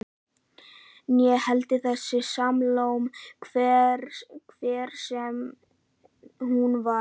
Né heldur þessa Salóme, hver sem hún var.